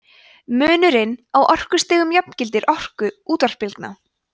munurinn á orkustigum jafngildir orku útvarpsbylgna